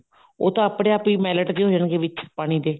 ਉਹ ਤਾਂ ਆਪਣੇ ਆਪ ਹੀ melt ਜੇ ਹੋ ਜਾਣਗੇ ਵਿੱਚ ਪਾਣੀ ਦੇ